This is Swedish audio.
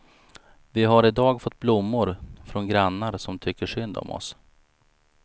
Vi har i dag fått blommor från grannar som tycker synd om oss.